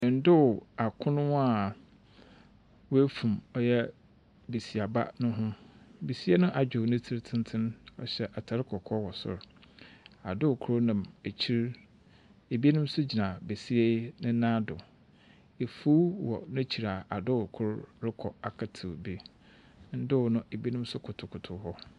Ndow akron a woefum ɔyɛ basiaba ho, basia no adwer ne tsir tsentsen, ɔhyɛ atar kɔkɔɔ wɔ sor. Adow kor nam ekyir, binom so gyina basia yi ne nan do. Efuw wɔ n’ekyir a adow kor rokɔ akɛtsew bi. Ndow no, binom so kotokoto hɔ.